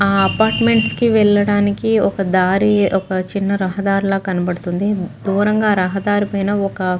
ఆ అపార్ట్మెంట్స్ కి వెళ్ళడానికి ఒక దారి ఒక చిన్న రహదారి లా కనబడుతుంది దూరంగా రహదారి పైన ఒక --